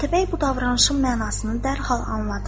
Atabəy bu davranışın mənasını dərhal anladı.